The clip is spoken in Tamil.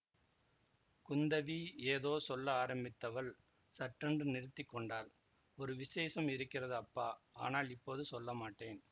குந்தவி ஏதோ சொல்ல ஆரம்பித்தவள் சட்டென்று நிறுத்தி கொண்டாள் ஒரு விசேஷம் இருக்கிறது அப்பா ஆனால் இப்போது சொல்லமாட்டேன்